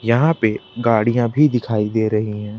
यहां पे गाड़ियां भी दिखाई दे रही हैं।